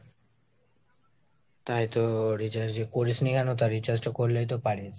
তাই তো recharge টা করিসনি কেন, তো recharge টা করলেই তো পারিস